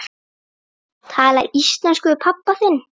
Tala íslensku við pabba þinn?